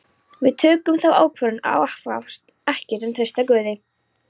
Við tókum þá ákvörðun að aðhafast ekkert en treysta Guði.